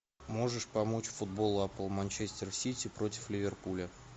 можешь помочь футбол апл манчестер сити против ливерпуля